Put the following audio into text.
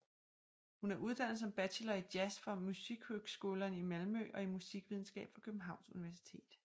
Hun er uddannet som bachelor i jazz fra Musikhögskolan i Malmö og i musikvidenskab fra Københavns Universitet